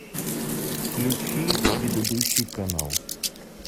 включи предыдущий канал